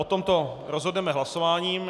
O tomto rozhodneme hlasováním.